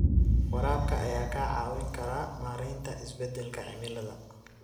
Waraabka ayaa kaa caawin kara maareynta isbeddelka cimilada.